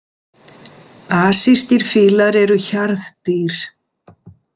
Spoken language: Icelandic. Asískir fílar eru hjarðdýr.